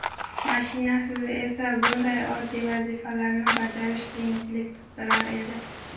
Mashinasiz esa, bunday oddiy vazifalarni bajarish qiyinchilik tug‘dirar edi.